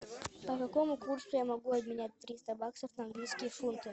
по какому курсу я могу обменять триста баксов на английские фунты